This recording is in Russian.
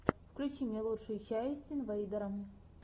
включи мне лучшую часть инвейдера